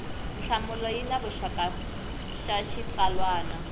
nhlamulo ya xivutiso xa xitsalwana